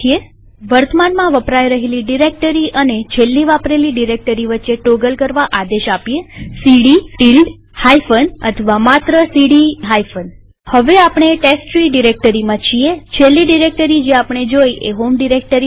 વર્તમાનમાં વપરાય રહેલી ડિરેક્ટરી અને છેલ્લી વાપરેલી ડિરેક્ટરી વચ્ચે ટોગલ કરવા આદેશ સીડી ટીલ્ડ હાઈફન અથવા માત્ર સીડી હાઈફન હવે આપણે ટેસ્ટટ્રી ડિરેક્ટરીમાં છીએછેલ્લી ડિરેક્ટરી જે આપણે જોઈ એ હોમ ડિરેક્ટરી હતી